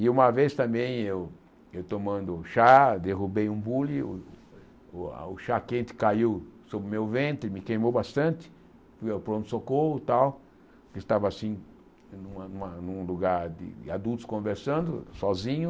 E uma vez também eu eu tomando chá, derrubei um bule, o a o chá quente caiu sobre o meu ventre, me queimou bastante, pronto-socorro e tal, estava assim em uma em uma um lugar de adultos conversando sozinho,